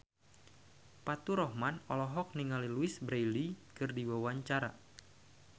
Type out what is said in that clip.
Faturrahman olohok ningali Louise Brealey keur diwawancara